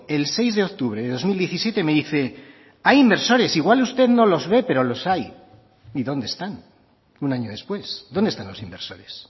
el seis de octubre de dos mil diecisiete me dice hay inversores igual usted no los ve pero los hay y dónde están un año después dónde están los inversores